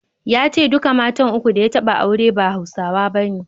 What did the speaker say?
Ya ce duka matan uku da ya taɓa aure ba Hausawa bane.